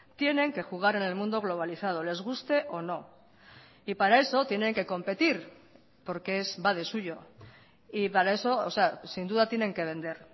tienen que jugar en el mundo globalizado les guste o no y para eso tienen que competir porque es va de suyo y para eso sin duda tienen que vender